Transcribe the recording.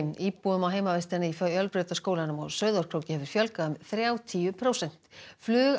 íbúum á heimavistinni í Fjölbrautaskólanum á Sauðárkróki hefur fjölgað um þrjátíu prósent